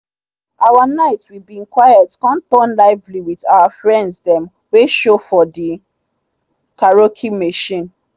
our night we been quiet come turn lively with our friend them wey show for the karaoke machine.